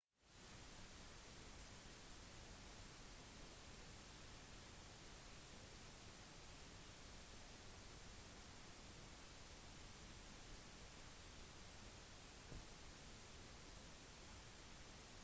etter at tjenestemenn bekrefter identiteten til velgeren slipper velgeren konvolutten ned i stemmeboksen og signerer på stemmeoppropet